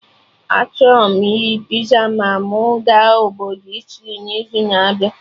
Achọrọ m iri pizza ma mụ ga obodo Italy n'izu na-abịa